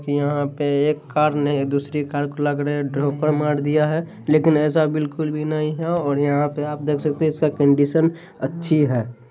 यहां पे एक कार ने दूसरी कार को लग रहा हैं। ठोकर मार दिया हैं लेकिन ऐसा बिल्कुल भी नहीं हैं और यहा पे आप देख सकते हैं इसका कंडीशन अच्छी हैं।